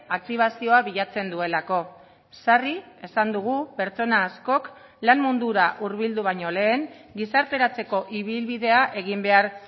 aktibazioa bilatzen duelako sarri esan dugu pertsona askok lan mundura hurbildu baino lehen gizarteratzeko ibilbidea egin behar